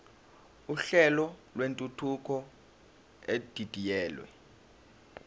uhlelo lwentuthuko edidiyelwe